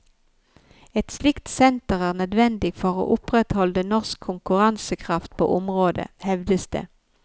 Et slikt senter er nødvendig for å opprettholde norsk konkurransekraft på området, hevdes det.